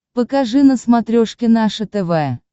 покажи на смотрешке наше тв